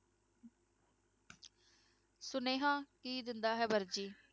ਸੁਨੇਹਾਂ ਕੀ ਦਿੰਦਾ ਹੈ ਵਰਜੀ।